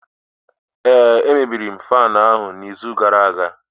ee, emebiri m faanu n'izu gara aga